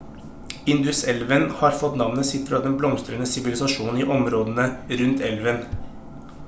induselven har fått navnet sitt fra den blomstrende sivilisasjonen i områdene rundt elven